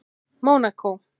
Mónakó